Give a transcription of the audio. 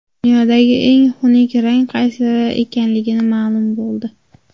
Dunyodagi eng xunuk rang qaysi ekanligi ma’lum bo‘ldi.